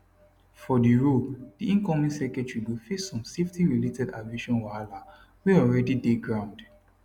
for di role di incoming secretary go face some safety related aviation wahala wey alreadi dey ground